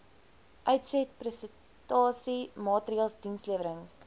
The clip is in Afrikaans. uitsetprestasie maatreëls dienslewerings